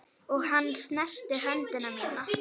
Og hann snerti hönd mína.